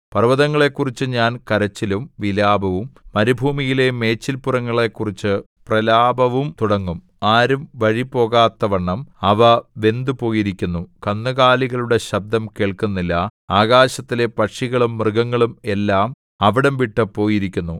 പർവ്വതങ്ങളെക്കുറിച്ചു ഞാൻ കരച്ചിലും വിലാപവും മരുഭൂമിയിലെ മേച്ചിൽപുറങ്ങളെക്കുറിച്ചു പ്രലാപവും തുടങ്ങും ആരും വഴിപോകാത്തവണ്ണം അവ വെന്തുപോയിരിക്കുന്നു കന്നുകാലികളുടെ ശബ്ദം കേൾക്കുന്നില്ല ആകാശത്തിലെ പക്ഷികളും മൃഗങ്ങളും എല്ലാം അവിടം വിട്ടു പോയിരിക്കുന്നു